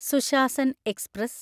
Sushasan express